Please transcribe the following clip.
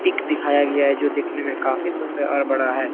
Pick दिखाया गया है जो दिखने में काफी सुंदर और काफी बड़ा है।